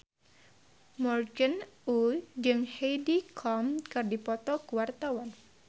Morgan Oey jeung Heidi Klum keur dipoto ku wartawan